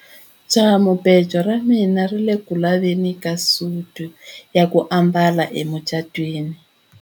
Jahamubejo ra mina ri ku le ku laveni ka suti ya ku ambala emucatwini.